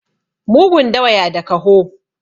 mugun dawa ya da kaho